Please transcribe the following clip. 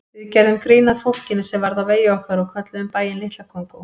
Við gerðum grín að fólkinu sem varð á vegi okkar og kölluðum bæinn Litla Kongó.